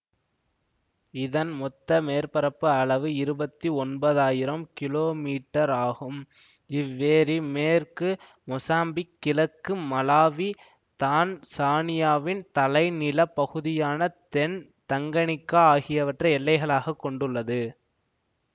இதன் மொத்த மேற்பரப்பு அளவு இருபத்தி ஒன்பதாயிரம் கிமீ ஆகும் இவ்வேரி மேற்கு மொசாம்பிக் கிழக்கு மலாவி தான்சானியாவின் தலைநிலப் பகுதியான தென் தங்கனிக்கா ஆகியவற்றை எல்லைகளாகக் கொண்டுள்ளது